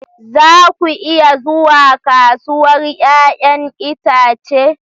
Za ku iya zuwa kasuwar 'ya'yan itace?